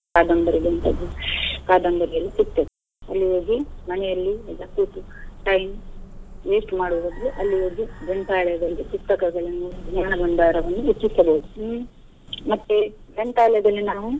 ಕಾದಂಬರಿ ಅಂತದ್ದು ಕಾದಂಬರಿಯೆಲ್ಲಾ ಸಿಗ್ತದೆ. ಅಲ್ಲಿ ಹೋಗಿ ಮನೆಯಲ್ಲಿ ಎಲ್ಲಾ ಕೂತು time waste ಮಾಡೋ ಬದ್ಲು ಅಲ್ಲಿ ಹೋಗಿ ಗ್ರಂಥಾಲಯಗಳಿಗೆ ಪುಸ್ತಕಗಳನ್ನು ಜ್ಞಾನ ಬಂಡಾರವನ್ನು ಹೆಚ್ಚಿಸಬಹುದು ಹ್ಮ್‌ ಮತ್ತೆ ಗ್ರಂಥಾಲಯದಲ್ಲಿ ನಾವು.